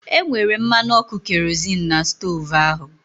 E nwere mmanụ ọkụ kerozịn n'stoovu ahu